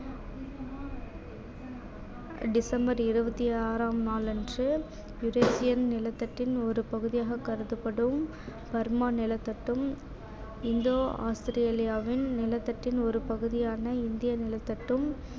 December இருபத்தி ஆறாம் நாளன்று யுரேஸியன் நிலத்தட்டின் ஒரு பகுதியாக கருதப்படும் பர்மா நிலத்தட்டும் இந்தோ ஆஸ்திரேலியாவின் நிலத்தட்டின் ஒரு பகுதியான இந்திய நிலத்தட்டும்